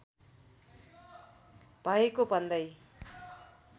भएको भन्दै